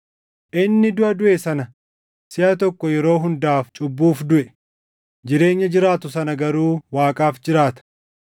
Inni duʼa duʼe sana siʼa tokko yeroo hundaaf cubbuuf duʼe; jireenya jiraatu sana garuu Waaqaaf jiraata.